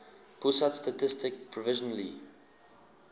pusat statistik provisionally